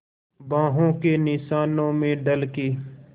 बाहों के निशानों में ढल के